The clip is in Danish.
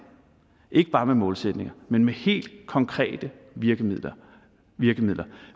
ikke bare med målsætninger men med helt konkrete virkemidler virkemidler